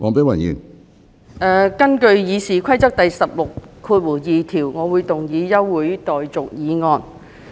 我現根據《議事規則》第162條，動議一項休會待續議案。